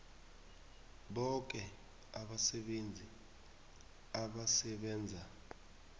boke abasebenzi abasebenza